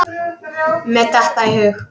Mér datt það í hug!